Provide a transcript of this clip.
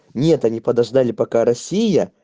нет они подождали пока россия